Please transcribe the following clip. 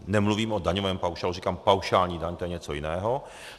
Nemluvím o daňovém paušálu, říkám paušální daň, to je něco jiného.